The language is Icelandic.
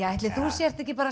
ætli þú sért ekki